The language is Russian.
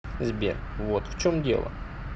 сбер вот в чем дело